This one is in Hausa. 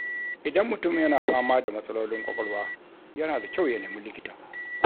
Idan mutum yana fama da matsalolin ƙwaƙwalwa, yana da kyau ya nemi likita.